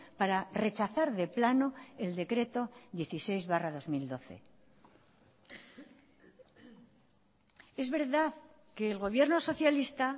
para rechazar de plano el decreto dieciséis barra dos mil doce es verdad que el gobierno socialista